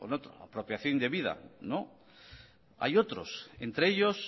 o apropiación indebida no hay otros entre ellos